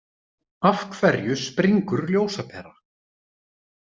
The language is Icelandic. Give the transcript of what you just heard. Af hverju springur ljósapera?